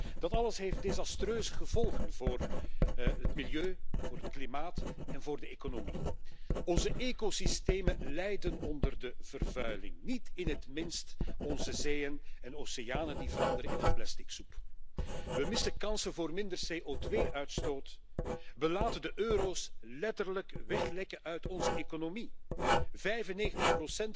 inspanningen voor onderzoek en innovatie, ook in het volgende meerjarig financieel kader. De EU moet ook globaal mee aan de kar trekken én moet in haar eigen instellingen natuurlijk